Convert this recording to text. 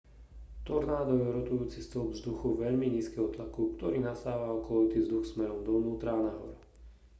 tornádo je rotujúci stĺp vzduchu veľmi nízkeho tlaku ktorý nasáva okolitý vzduch smerom dovnútra a nahor